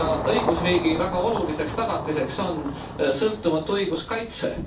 Õigusriigi väga oluliseks tagatiseks on sõltumatu õiguskaitse.